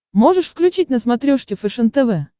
можешь включить на смотрешке фэшен тв